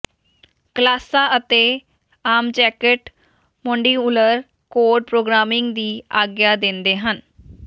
ਕਲਾਸਾਂ ਅਤੇ object modular code programming ਦੀ ਆਗਿਆ ਦਿੰਦੇ ਹਨ